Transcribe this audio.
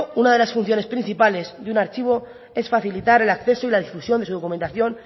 una de las funciones principales de un archivo es facilitar el acceso y la difusión de su documentación